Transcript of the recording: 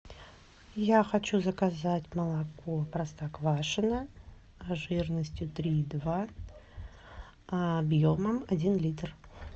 я хочу заказать молоко простоквашино жирностью три и два объемом один литр